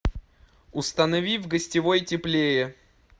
установи в гостевой теплее